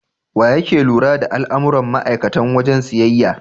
Waye yake lura da al'amuran ma'aikatan wajen siyayya?